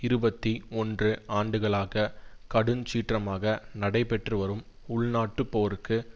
இருபத்தி ஒன்று ஆண்டுகளாக கடுஞ்சீற்றமாக நடைபெற்று வரும் உள்நாட்டுப் போருக்கு